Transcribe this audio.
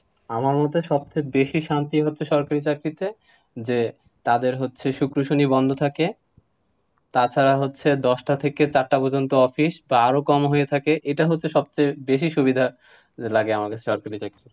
আমার মতে সবচেয়ে বেশি শান্তি হচ্ছে সরকারি চাকরিতে, যে, তাদের হচ্ছে শুক্র, শনি বন্ধ থাকে, তাছাড়া হচ্ছে দশটা থেকে চারটা পর্যন্ত office তারও কম হয়ে থাকে, এটা হচ্ছে সবচেয়ে বেশি সুবিধা লাগে আমাদের সরকারি চাকরি।